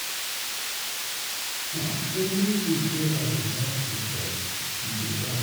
Na only fruits wey I dey like to chop he dey buy.